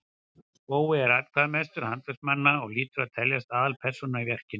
spóli er atkvæðamestur handverksmannanna og hlýtur að teljast aðalpersóna í verkinu